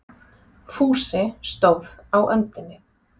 Fúsi stóð á öndinni.